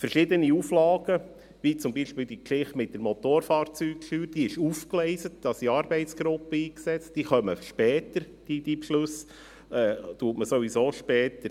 Bei verschiedenen Auflagen, wie zum Beispiel bei der Geschichte mit der Motorfahrzeugsteuer, die aufgegleist ist und wo Arbeitsgruppen eingesetzt sind, trifft man die Beschlüsse sowieso später.